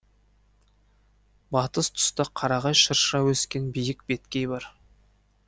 батыс тұста қарағай шырша өскен биік беткей бар